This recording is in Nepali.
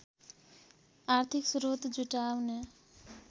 आर्थिक स्रोत जुटाउने